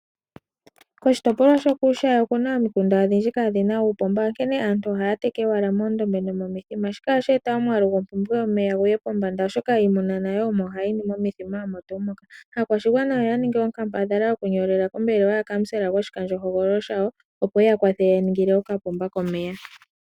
Koshitopolwa shokuushayi oku na omikunda odhindji kaadhi na uupomba, onkene aantu ohaya teke owala moondombe nomomithima. Shika ohashi eta omwaalu gompumbwe yomeya gu ye pombanda, oshoka iimuna nayo omo hayi nu momithima omo tuu moka. Aakwashigwana oya ningi onkambadhala yokunyolela kombelewa yaKansela goshikandjohogololo shawo, opo eya kwathele eya ningile okapomba komeya.